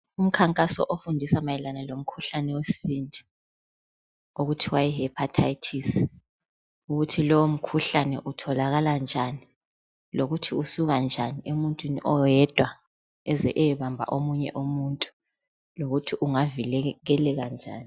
Umkhankaso okufundisa mayelana lomkhuhlane wesibindi okuthiwa yihepathayithisi. Ukuthi lowo mkhuhlane utholakala njani, lokuthi usukà njani emuntwini oyedwa uze uyebamba omunye umuntu lokuthi ungavikeleka njani.